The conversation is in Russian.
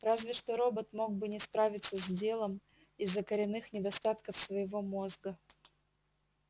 разве что робот мог бы не справиться с делом из-за коренных недостатков своего мозга